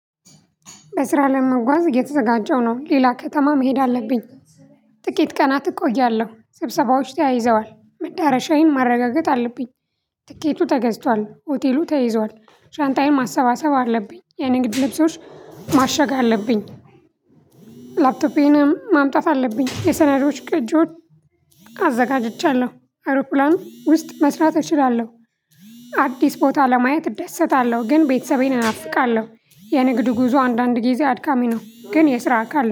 በስራ ለመጓዝ እየተዘጋጀው ነው ሌላ ከተማ መሄድ አለብኝ። ጥቂት ቀናት እቆያለሁ ስብሰባዎች ተያይዘዋል መዳረሻዬን ማረጋገጥ አለብኝ። ትኬቱ ተገዝቷል ሆቴሉ ተይዘዋል። ሻንጣዬን ማሰባሰብ አለብኝ የንግድ ልብሶች ማሸጋ አለብኝ። ላፕቶፔንም ማምጣት አለብኝ የሰናዶች ቀጆች። አዘጋጅቻለሁ አዉሮፕላን ውስጥ መስራት እችላለሁ። አዲስ ቦታ ለማየት እደሰታለሁ ግን ቤተሰቤን እናፍቃለሁ። የንግዱ ጉዞ አንዳንድ ጊዜ አድካሚ ነው። ግን የስራ አካል